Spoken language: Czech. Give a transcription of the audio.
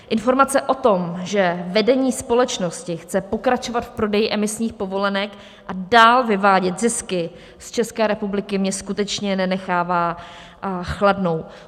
Informace o tom, že vedení společnosti chce pokračovat v prodeji emisních povolenek a dál vyvádět zisky z České republiky, mě skutečně nenechává chladnou.